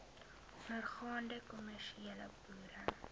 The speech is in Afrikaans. ondergaande kommersiële boere